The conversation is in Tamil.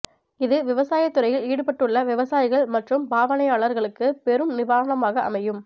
இது விவசாயத் துறையில் ஈடுபட்டுள்ள விவசாயிகள் மற்றும் பாவனையாளர்களுக்கு பெரும் நிவாரணமாக அமையும்